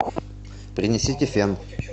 принесите фен